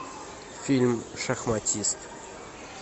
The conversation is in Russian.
фильм шахматист